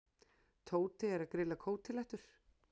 Tóti er að grilla kótilettur.